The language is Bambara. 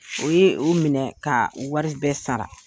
O ye u minɛ ka wari bɛɛ sara